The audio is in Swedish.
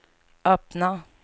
öppna